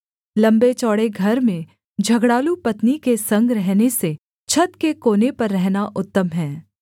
लम्बेचौड़े घर में झगड़ालू पत्नी के संग रहने से छत के कोने पर रहना उत्तम है